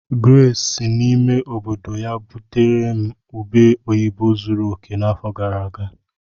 Grace si n'ime obodo ya butere m ube oyibo zuru oke n'afọ gara aga.